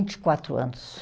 Vinte e quatro anos.